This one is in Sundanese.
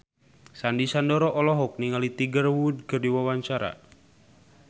Sandy Sandoro olohok ningali Tiger Wood keur diwawancara